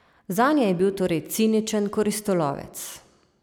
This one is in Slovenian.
Zanje je bil torej ciničen koristolovec.